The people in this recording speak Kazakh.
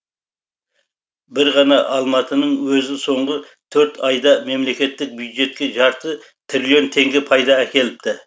бір ғана алматының өзі соңғы төрт айда мемлекеттік бюджетке жарты триллион теңге пайда әкеліпті